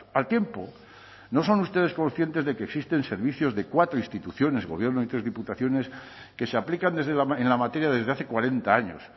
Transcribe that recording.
al tiempo no son ustedes conscientes de que existen servicios de cuatro instituciones gobierno y tres diputaciones que se aplican en la materia desde hace cuarenta años